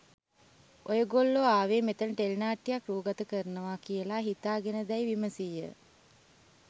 ඔයගොල්ලොආවේ මෙතන ටෙලිනාට්‍යයක්‌ රූගත කරනවා කියලා හිතාගෙනදැයි විමසීය.